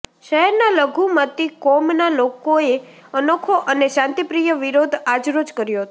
શહેરના લઘુમતી કોમના લોકોએ અનોખો અને શાંતિપ્રિય વિરોધ આજરોજ કર્યો હતો